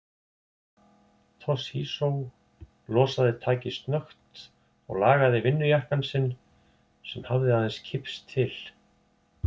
Toshizo losaði takið snögt og lagaði vinnujakkann sinn sem hafði aðeins kipst til.